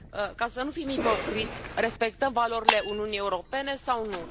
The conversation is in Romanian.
Ca să nu fim ipocriți, respectăm valorile Uniunii Europene sau nu?